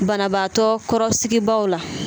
Banabaatɔ kɔrɔsigibaaw la